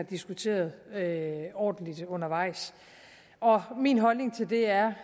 diskuteret ordentligt undervejs min holdning til det er